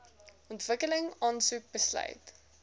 ontwikkeling aansoek besluit